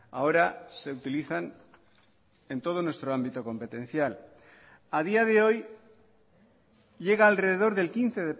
ahora se utilizan en todo nuestro ámbito competencial a día de hoy llega alrededor del quince